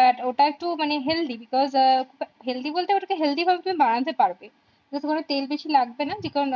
But ওটা একটু মানে healthy because healthy বলতে ওটা কে তুমি healthy ভাবে বানাতে পারবে ওটা তে তেল বেশি লাগবে না because